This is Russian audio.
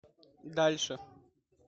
дальше